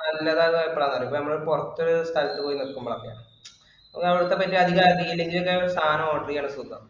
നല്ലതാകുക എപ്പോഴാന്ന്‌ അറിയുവോ ഇപ്പൊ നമ്മള് പുറത്ത്‌ സ്ഥലത്തു പോയി നിൽക്കുമ്പോ അറിയാം. ഒന്ന് അവിടുത്തെ പറ്റി അധികം അറിയില്ലെങ്കിലും സാധനം order ചെയ്യാൻ സുഖവാ.